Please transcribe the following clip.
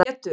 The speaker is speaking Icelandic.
Pétur